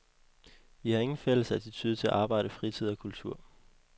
Vi har ingen fælles attitude til arbejde, fritid og kultur.